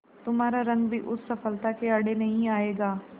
तुम्हारा रंग भी उस सफलता के आड़े नहीं आएगा